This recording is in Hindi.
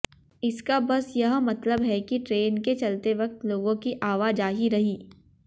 इसका बस यह मतलब है कि ट्रेन के चलते वक्त लोगों की आवाजाही रही